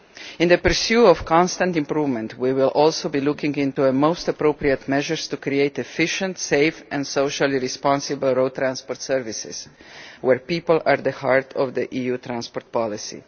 In the pursuit of constant improvement, we will also be looking into the most appropriate measures to create efficient, safe and socially responsible road transport services, with people at the heart of EU transport policy.